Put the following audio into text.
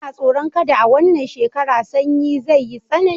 Ina tsoron kada a wannan shekara Sannyi zai yi tsanani